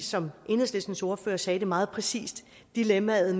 som enhedslistens ordfører sagde det meget præcist dilemmaet